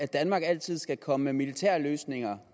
danmark altid skal komme med militære løsninger